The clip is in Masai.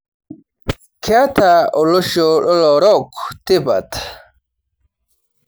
Keeta olosho lolorook tipat